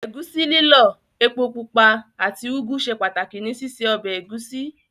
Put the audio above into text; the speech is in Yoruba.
Ẹ̀gúsí lílọ̀, epo pupa àti Ugwu ṣe pàtàkì ní síse ọbẹ̀ ẹ̀gúsí.